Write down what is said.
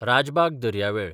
राजबाग दर्यावेळ